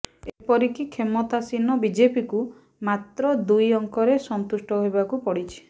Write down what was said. ଏପରିକି କ୍ଷମତାସୀନ ବିଜେପିକୁ ମାତ୍ର ଦୁଇ ଅଙ୍କରେ ସନ୍ତୁଷ୍ଟ ହେବାକୁ ପଡିଛି